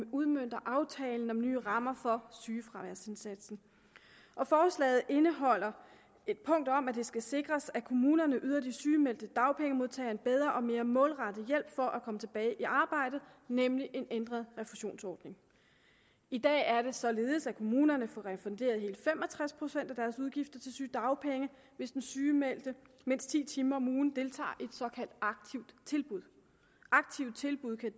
udmønter aftalen om nye rammer for sygefraværsindsatsen forslaget indeholder et punkt om at det skal sikres at kommunerne yder de sygemeldte dagpengemodtagere en bedre og mere målrettet hjælp for at komme tilbage i arbejde nemlig en ændret refusionsordning i dag er det således at kommunerne får refunderet hele fem og tres procent af deres udgifter til sygedagpenge hvis den sygemeldte mindst ti timer om ugen deltager i et såkaldt aktivt tilbud aktive tilbud kan